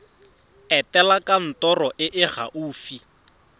etela kantoro e e gaufi